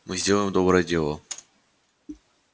мы сделаем доброе дело